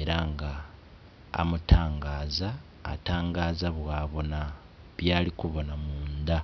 era nga amutangaza atangaza bwabona byali kubona munda